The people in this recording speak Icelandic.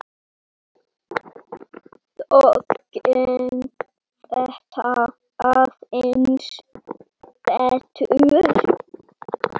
Þá gekk þetta aðeins betur.